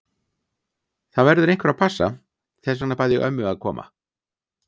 Það verður einhver að passa, þess vegna bað ég ömmu að koma.